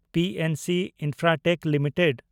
PNC Infratech limited